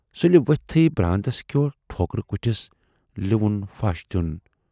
سُلہِ ؤتھۍتھٕے براندس کیو ٹھوکُر کھُٹِس لِوَن پھش دِیُن۔